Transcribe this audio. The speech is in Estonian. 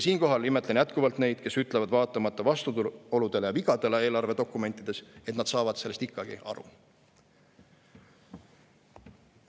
Siinkohal imetlen jätkuvalt neid, kes ütlevad vaatamata vastuoludele ja vigadele eelarvedokumentides, et saavad sellest eelarvest ikkagi aru.